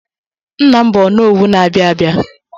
Nna m bụ Onowu na-abịa abịa.